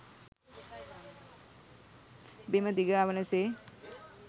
බිම දිගාවන සේ